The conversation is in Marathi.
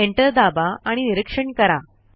एंटर दाबा आणि निरीक्षण करा